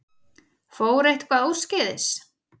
Fór eitthvað úrskeiðis?